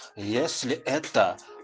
если это